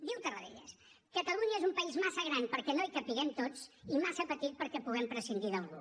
diu tarradellas catalunya és un país massa gran perquè no hi capiguem tots i massa petit perquè puguem prescindir d’algú